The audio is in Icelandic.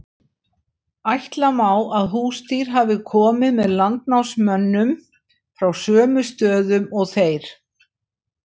ætla má að húsdýr hafi komið með landnámsmönnum frá sömu stöðum og þeir